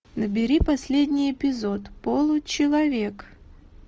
набери последний эпизод получеловек